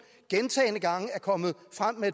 gentagne gange er kommet frem med